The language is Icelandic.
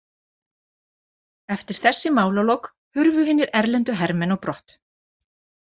Eftir þessi málalok hurfu hinir erlendu hermenn á brott.